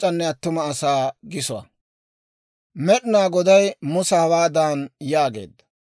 Med'inaa Goday Musa hawaadan yaageedda;